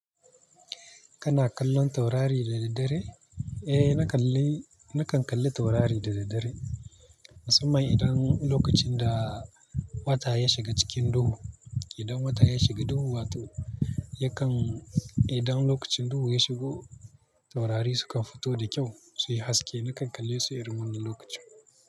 Kana kallon taurari da daddare? Eh, na kalli. Nakan kalli taurari da daddare. Musamman idan lokacin da wata ya shiga cikin duhu. Idan wata ya shiga duhu, wato yakan-- idan lokacin duhu ya shigo, taurari sukan fito da kyau. Su yi haske. Nakan kalle su irin wannan lokacin.